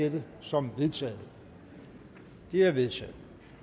dette som vedtaget det er vedtaget